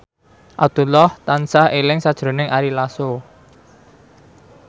Abdullah tansah eling sakjroning Ari Lasso